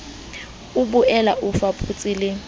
o boele o fapose le